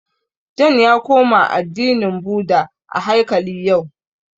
John ya koma addinin Bhudha a haikali yau